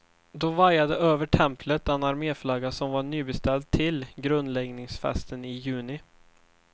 Då vajade över templet den arméflagga, som var nybeställd till grundläggningsfesten i juni.